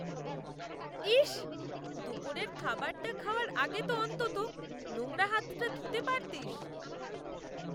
ইস! দুপুরের খাবারটা খাওয়ার আগে তো অন্তত নোংরা হাতটা ধুতে পারতিস।।